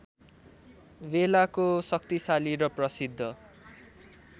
बेलाको शक्तिशाली र प्रसिद्ध